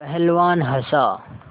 पहलवान हँसा